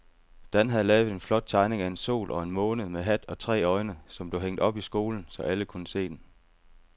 Dan havde lavet en flot tegning af en sol og en måne med hat og tre øjne, som blev hængt op i skolen, så alle kunne se den.